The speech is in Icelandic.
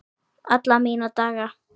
Alla mína daga.